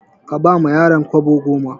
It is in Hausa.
Ka bawa yaron kwabo goma.